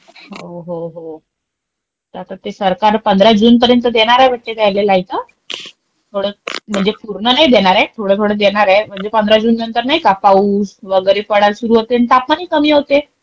हो, हो, हो. आता ते सरकार 15 जून पर्यंत देणारे वाटतं त्यांना लाईट. थोडं -- म्हणजे पूर्ण नाही देणारे, थोडं थोडं देणारे. म्हणजे15 जून नंतर नाही का पाऊस वगैरे पडायला सुरु होते आणि तापमान ही कमी होते.